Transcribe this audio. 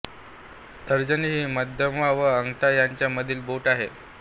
तर्जनी ही मध्यमा व अंगठा यांच्या मधील बोट आहे